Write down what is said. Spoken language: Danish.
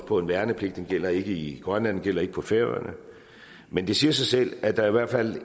på en værnepligt den gælder ikke i grønland den gælder ikke på færøerne men det siger sig selv at der i hvert fald